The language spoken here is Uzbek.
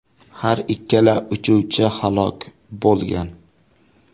Har ikkala uchuvchi halok bo‘lgan.